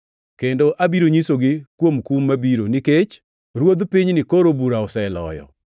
kendo abiro nyisogi kuom kum mabiro, nikech ruodh pinyni koro bura oseloyo.